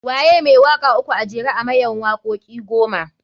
Waye mai waka uku a jera a mayan wakoki goma?